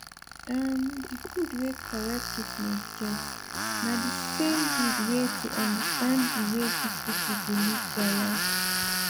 ermm d gud wey correct treatment get na d same gud wey to understand d way dis pipo dey live their life